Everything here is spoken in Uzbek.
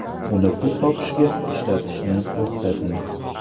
Uni pul topishga ishlatishni to‘xtating.